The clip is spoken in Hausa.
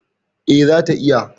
E, zata iya.